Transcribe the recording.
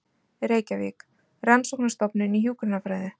Reykjavík: Rannsóknarstofnun í hjúkrunarfræði.